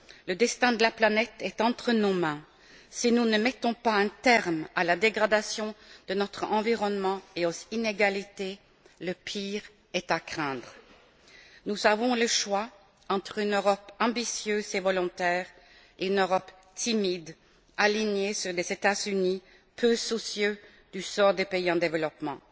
le destin de la planète est entre nos mains. Si nous ne mettons pas un terme à la dégradation de notre environnement et aux inégalités, le pire est à craindre. Nous avons le choix entre une Europe ambitieuse et volontaire et une Europe timide, alignée sur les États Unis peu soucieux du sort des pays en développement.